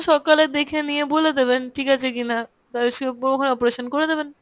সকালে দেখে নিয়ে বলে দেবেন ঠিক আছে কিনা, operation করে দেবেন।